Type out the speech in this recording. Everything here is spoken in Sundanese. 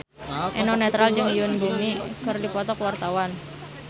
Eno Netral jeung Yoon Bomi keur dipoto ku wartawan